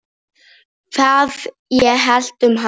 Hvað ég hélt um hann?